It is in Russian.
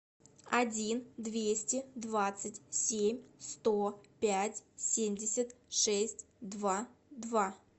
один двести двадцать семь сто пять семьдесят шесть два два